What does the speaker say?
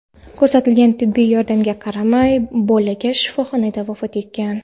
Ko‘rsatilgan tibbiy yordamga qaramay, bola shifoxonada vafot etgan.